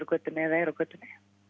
götunni eða eru á götunni